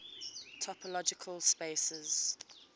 topological spaces